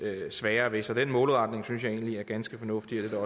sværere ved det så den målretning synes jeg egentlig er ganske fornuftig og